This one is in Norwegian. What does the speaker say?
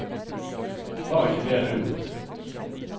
Var ikke det lurt?